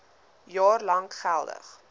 jaar lank geldig